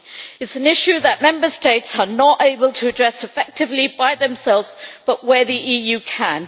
It is an issue that Member States are not able to address effectively by themselves, but where the EU can.